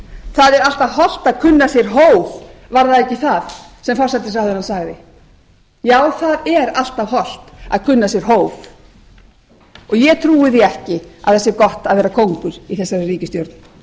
það er alltaf hollt að kunna sér hóf var það ekki það sem forsætisráðherrann sagði já það er alltaf hollt að kunna sér hóf og ég trúi því ekki að það sé gott að vera kóngur í þessari ríkisstjórn